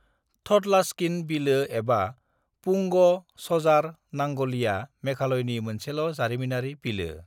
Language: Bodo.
थडलास्किन बिलो एबा पुंग सजार नांगलीआ मेघालयनि मोनसेल' जारिमिनारि बिलो।